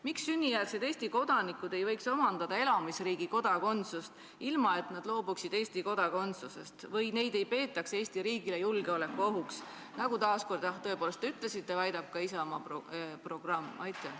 Miks sünnijärgsed Eesti kodanikud ei võiks omandada elamisriigi kodakondsust, ilma et nad loobuksid Eesti kodakondsusest või ilma et neid peetaks Eesti riigile julgeolekuohuks, nagu te taas kord, jah, tõepoolest ütlesite, väidab ka Isamaa programm?